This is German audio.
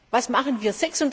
Was machen wir?